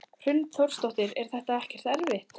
Hrund Þórsdóttir: Er þetta ekkert erfitt?